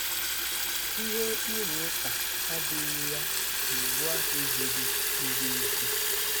Ihe ịrụ ụka adịghị ya na Iwu ahụ ziri ziri ezi.